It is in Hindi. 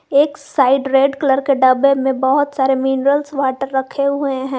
एक साइड रेड कलर के डब्बे में बहोत सारे मिनरल्स वाटर रखे हुए हैं।